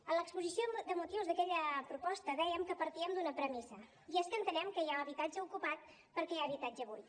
en l’exposició de motius d’aquella proposta dèiem que partíem d’una premissa i és que entenem que hi ha habitatge ocupat perquè hi ha habitatge buit